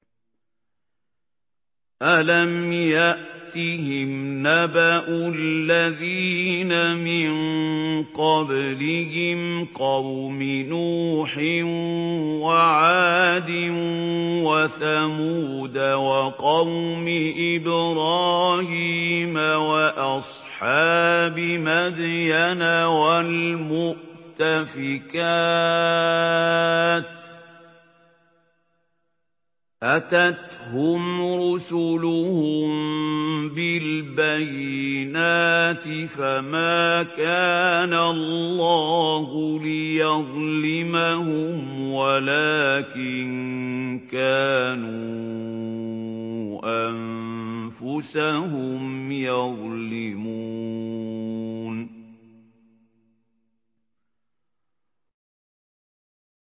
أَلَمْ يَأْتِهِمْ نَبَأُ الَّذِينَ مِن قَبْلِهِمْ قَوْمِ نُوحٍ وَعَادٍ وَثَمُودَ وَقَوْمِ إِبْرَاهِيمَ وَأَصْحَابِ مَدْيَنَ وَالْمُؤْتَفِكَاتِ ۚ أَتَتْهُمْ رُسُلُهُم بِالْبَيِّنَاتِ ۖ فَمَا كَانَ اللَّهُ لِيَظْلِمَهُمْ وَلَٰكِن كَانُوا أَنفُسَهُمْ يَظْلِمُونَ